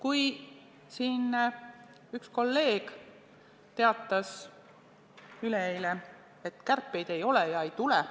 Üks kolleeg – ta läks kahjuks saalist välja –, teatas üleeile, et kärpeid ei ole ja ei tule.